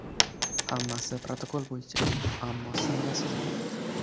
Hammasi protokol bo‘yicha, ammo samarasiz bo‘ldi.